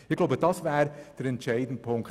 Ich glaube, das wäre der entscheidende Punkt.